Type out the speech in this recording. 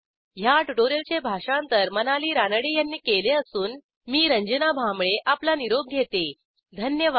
ह्या ट्युटोरियलचे भाषांतर मनाली रानडे यांनी केले असून मी रंजना भांबळे आपला निरोप घेते धन्यवाद